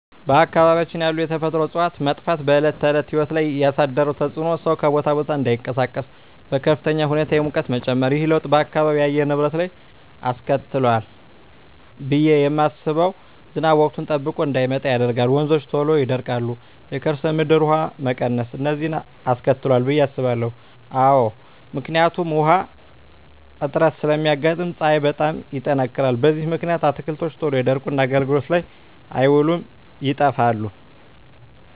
በአካባቢያችን ያሉ የተፈጥሮ እፅዋት መጥፋት በዕለት ተዕለት ሕይወት ላይ ያሣደረው ተፅኖ ሠው ከቦታ ቦታ እዳይንቀሣቀስ፤ በከፍተኛ ሁኔታ የሙቀት መጨመር። ይህ ለውጥ በአካባቢው የአየር ንብረት ላይ ምን አስከትሏል ብየ ማስበው። ዝናብ ወቅቱን ጠብቆ እዳይመጣ ያደርጋል፤ ወንዞች ቶሎ ይደርቃሉ፤ የከርሠ ምድር ውሀ መቀነስ፤ እነዚን አስከትሏል ብየ አስባለሁ። አዎ አስባለሁ። ምክንያቱም ውሀ እጥረት ስለሚያጋጥም፤ ፀሀይ በጣም ይጠነክራል። በዚህ ምክንያት አትክልቶች ቶሎ ይደርቁና አገልግሎት ላይ አይውሉም ይጠፋሉ።